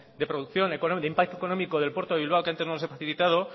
de producción de impacto económico del puerto de bilbao que antes no los he facilitado